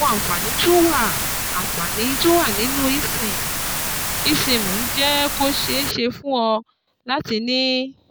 Àwọn àǹfààní tó wà àǹfààní tó wà nínú eSIM eSIM ń jẹ́ kó ṣeé ṣe fún ọ láti ní